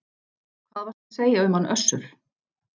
Hvað varstu að segja um hann Össur?